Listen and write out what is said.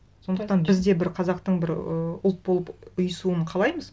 сондықтан біз де бір қазақтың бір ыыы ұлт болып ұйысуын қалаймыз